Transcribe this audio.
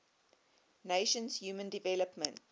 nations human development